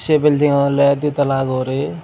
se building oley ditala guri.